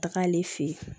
Taga ale fɛ yen